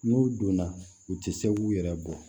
N'u donna u tɛ se k'u yɛrɛ bɔ